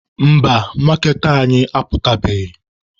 Mba, maaketa anyị aputabeghị.